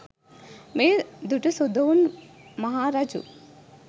මෙය දුටු සුදොවුන් මහා රජු